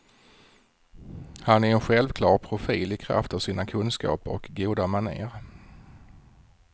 Han är en självklar profil i kraft av sina kunskaper och goda maner.